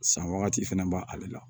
San wagati fɛnɛ b'ale la